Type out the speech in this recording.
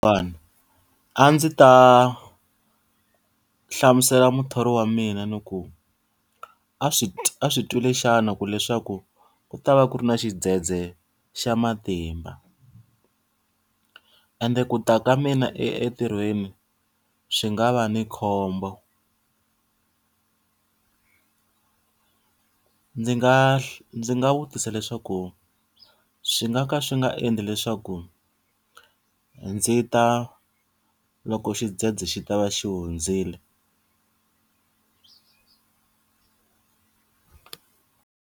A ndzi ta hlamusela muthori wa mina ndzi ku, a swi a swi twile xana ku leswaku u ta va ku ri na xidzedze xa matimba. Ende ku ta ka mina entirhweni swi nga va ni khombo. Ndzi nga ndzi nga vutisa leswaku swi nga ka swi nga endli leswaku ndzi ta loko xidzedze xi ta va xi hundzile?